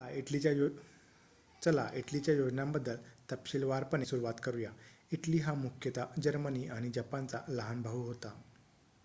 "चला इटलीच्या योजनांबद्दल तपशीलवारपणे सुरवात करूया. इटली हा मुख्यतः जर्मनी आणि जपानचा "लहान भाऊ" होता.